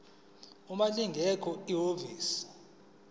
uma lingekho ihhovisi